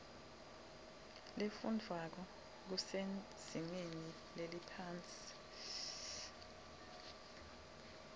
lefundwvwako kusezingeni leliphansi